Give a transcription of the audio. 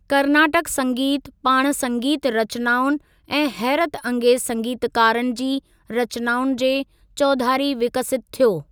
कर्नाटक संगीत पाण संगीत रचनाउनि ऐं हैरतअंगेज़ु संगीतकारनि जी रचनाउनि जे चौधारी विकसितु थियो।